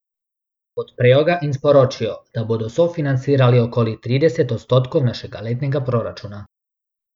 Podprejo ga in sporočijo, da bodo sofinancirali okoli trideset odstotkov našega letnega proračuna.